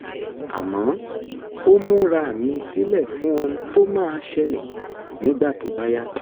àmọ́ ó múra mi sílẹ̀ fún ohun tó máa ṣẹlẹ̀ nígbà tó bá yá